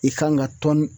I kan ka tɔni